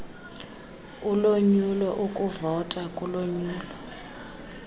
ulonyulo ukuvota kulonyulo